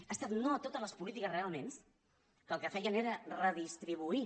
ha estat no a totes les polítiques realment que el que feien era redistribuir